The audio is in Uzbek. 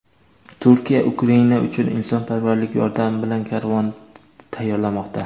Turkiya Ukraina uchun insonparvarlik yordami bilan karvon tayyorlamoqda.